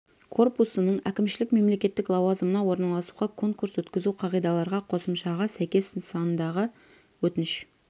корпусының әкімшілік мемлекеттік лауазымына орналасуға конкурс өткізу қағидаларға қосымшаға сәйкес нысандағы өтініш